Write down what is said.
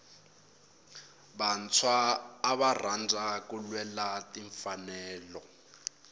vantshwa ava rhandza ku lwela timfanelo